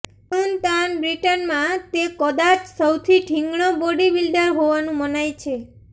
ચૂન Tan બ્રિટનમાં તે કદાચ સૌથી ઠીંગણો બોડી બિલ્ડર હોવાનું મનાય છે